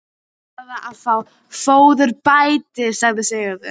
Kýrnar verða að fá fóðurbæti, sagði Sigurður.